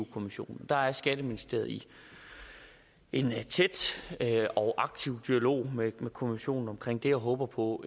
kommissionen der er skatteministeriet i en tæt og aktiv dialog med kommissionen om det og håber på